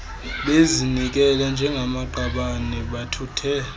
bezinikele njengamaqabane bathuthe